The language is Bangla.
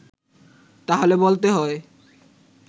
তাহলে বলতে হয়